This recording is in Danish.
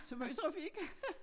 Så måj trafik